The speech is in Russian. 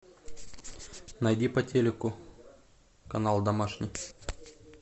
найди по телеку канал домашний